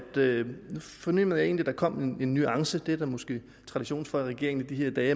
fornemmede egentlig der kom en nuance det er der måske tradition for i regeringen i de her dage